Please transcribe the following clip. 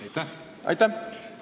Aitäh!